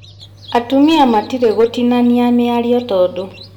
Atumia matirĩ gũtinania mĩario tondũ